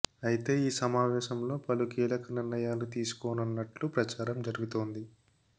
అయితే ఈ సమావేశంలో పలు కీలక నిర్ణయాలు తీసుకోనున్నట్లు ప్రచారం జరుగుతోంది